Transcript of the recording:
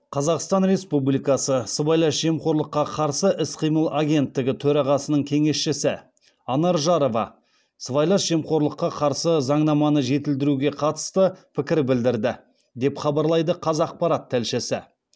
қазақстан республикасы сыбайлас жемқорлыққа қарсы іс қимыл агенттігі төрағасының кеңесшісі анар жарова сыбайлас жемқорлыққа қарсы заңнаманы жетілдіруге қатысты пікір білдірді деп хабарлайды қазақпарат тілшісі